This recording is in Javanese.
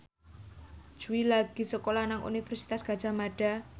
Jui lagi sekolah nang Universitas Gadjah Mada